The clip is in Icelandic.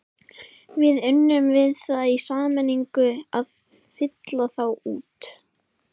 Við unnum við það í sameiningu að fylla þá út.